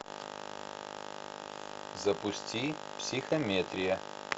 запусти психометрия